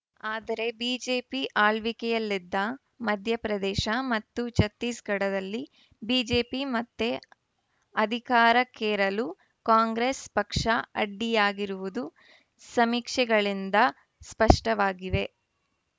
ಆದರೆ ಬಿಜೆಪಿ ಆಳ್ವಿಕೆಯಲ್ಲಿದ್ದ ಮಧ್ಯಪ್ರದೇಶ ಮತ್ತು ಛತ್ತೀಸ್‌ಗಢದಲ್ಲಿ ಬಿಜೆಪಿ ಮತ್ತೆ ಅಧಿಕಾರಕ್ಕೇರಲು ಕಾಂಗ್ರೆಸ್‌ ಪಕ್ಷ ಅಡ್ಡಿಯಾಗಿರುವುದು ಸಮೀಕ್ಷೆಗಳಿಂದ ಸ್ಪಷ್ಟವಾಗಿವೆ